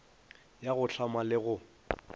ya go hlama le go